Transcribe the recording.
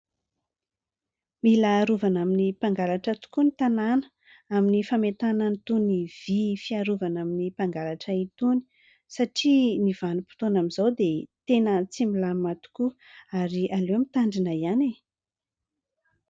Mila arovana amin'ny mpangalatra tokoa ny tanàna amin'ny fametahana an'itony vy fiarovana amin'ny mpangalatra itony satria ny vanim-potoana amin'izao dia tena tsy milamina tokoa ary aleo mitandrina ihany.